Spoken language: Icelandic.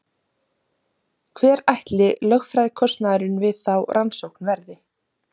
Hver ætli lögfræðikostnaðurinn við þá rannsókn verði?